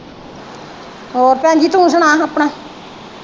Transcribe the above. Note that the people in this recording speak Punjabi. ਹੋਰ ਭੈਣਜੀ ਤੂੰ ਸੁਣਾ ਹਾ ਆਪਣਾ?